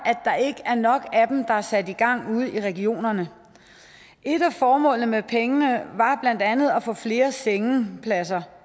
der ikke er nok af dem der er sat i gang ude i regionerne et af formålene med pengene var blandt andet at få flere sengepladser